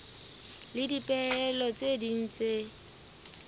le dipehelo tse ding tse